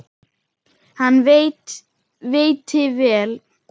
Hann veitti vel